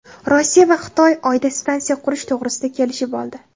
Rossiya va Xitoy Oyda stansiya qurish to‘g‘risida kelishib oldi.